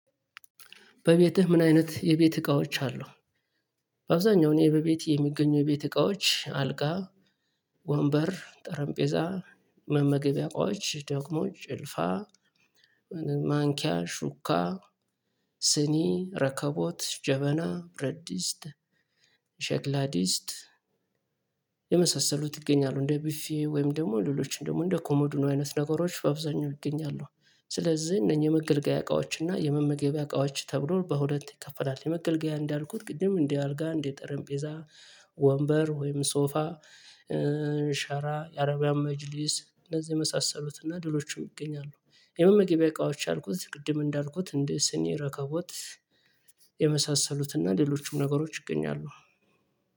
በቤትህ ምን አይነት የቤት እቃዎች አሉ? በአብዛኛው እኔ በቤት የሚገኙ የቤት እቃዎች አልጋ ወንበር ጠረምጴዛ መመገቢያ እቃዎች ደግሞ ጭልፋ ማንኪያ ሹካ ስኒ ረከቦት ጀበና ብረድስት ሸክላ ድስት የመሳሰሉት ይገኛሉ። እንደ ቢፌ ወይም ደግሞ ሌሎችን ደግሞ እንደ ኮሞድኖ አይነት ነገሮች በአብዛኛው ይገኛሉ። ስለዚህ እነኚህ የመገልገያ እቃዎችና የመመገቢያ እቃዎች ተብሎ በሁለት ይከፈላል። የመገልገያ እንዳልኩት ቅድም እንደ አልጋ እንደ ጠረምጴዛ ወንበር ወይም ሶፋ ሻራ የአረቢያን መጅሊስ እንደዚህ የመሳሰሉትና ሌሎችም ይገኛሉ። የመመገቢያ እቃዎች ያልኩት ቅድም እንዳልኩት እንደ ስኒ ረከቦት የመሳሰሉትና ሌሎቹም ነገሮች ይገኛሉ።